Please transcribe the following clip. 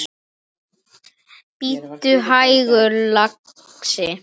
Bíddu hægur, lagsi.